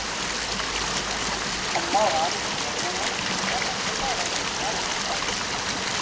Amma og afi byrjuðu að búa og áttu eftir að fara á milli margra bæja.